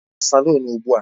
Gaa na salun ugbu a!